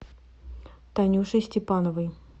танюшей степановой